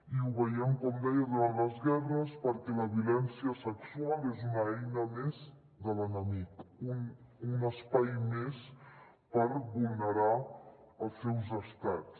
i ho veiem com deia durant les guerres perquè la violència sexual és una eina més de l’enemic un espai més per vulnerar els seus estats